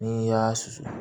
N'i y'a susu